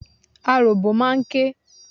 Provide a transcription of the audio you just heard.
Aròbó máa ń ké.